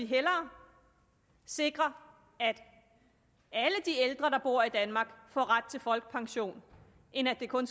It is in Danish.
hellere sikre at alle de ældre der bor i danmark får ret til folkepension end at det kun